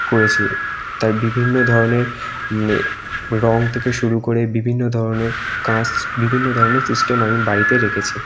করেছি তার বিভিন্ন ধরণের এ রং থেকে শুরু করে বিভিন্ন ধরনের কাঁচ বিভিন্ন ধরনের সিস্টেম আমি বাড়িতে রেখেছি ।